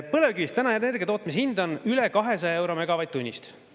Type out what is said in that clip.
Põlevkivist energia tootmise hind on üle 200 euro megavatt-tunnist.